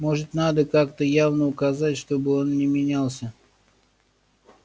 может надо как-то явно указать чтобы он не менялся